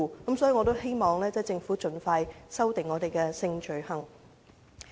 因此，我希望政府盡快修訂香港有關性罪行的法例。